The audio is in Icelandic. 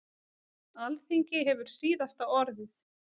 Alþingi hefur síðasta orðið